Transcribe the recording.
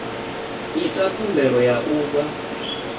ita khumbelo ya u vha